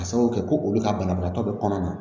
Ka sababu kɛ ko olu ka banabagatɔ bɛ kɔnɔ na